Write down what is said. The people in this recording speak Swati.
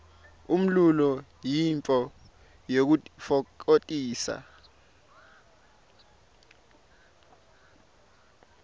umlulo yintfo yekutitfokotisa